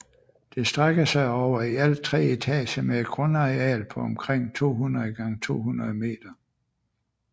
Det strækker sig over i alt tre etager med et grundareal på omkring 200x200 meter